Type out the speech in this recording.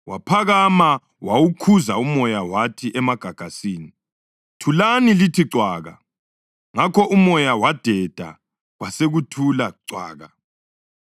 Waphakama wawukhuza umoya wathi emagagasini, “Thulani lithi cwaka!” Ngakho umoya wadeda, kwasekuthula cwaka.